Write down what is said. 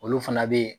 Olu fana bɛ yen